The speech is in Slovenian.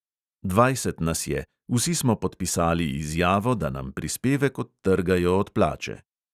Dvajset nas je, vsi smo podpisali izjavo, da nam prispevek odtrgajo od plače.